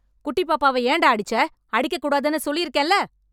குட்டிப் பாப்பாவை ஏன்டா அடிச்சே? அடிக்கக் கூடாதுன்னு சொல்லிருக்கேன்ல...